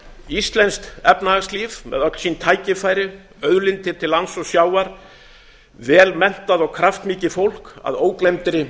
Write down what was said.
íslenskt efnahagslíf með öll sín tækifæri auðlindir til lands og sjávar vel menntað og kraftmikið fólk að ógleymdri